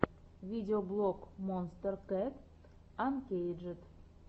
видеоблог монстер кэт анкейджед